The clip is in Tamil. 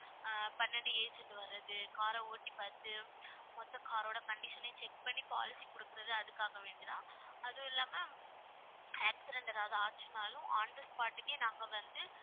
அஹ் பன்னெண்டு agent வர்றது car ர ஓட்டி பாத்து மொத்த car ஓட condition ஐயும் check பண்ணி policy கொடுக்கிறது அதுக்காக வேண்டி தான். அதுவும் இல்லாம accident ஏதாவது ஆச்சுன்னாலும் on the spot க்கே நாங்க வந்து